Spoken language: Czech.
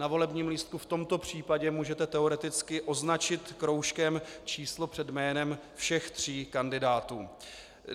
Na volebním lístku v tomto případě můžete teoreticky označit kroužkem číslo před jménem všech tří kandidátů.